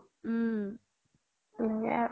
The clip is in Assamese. উম